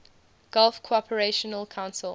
gulf cooperation council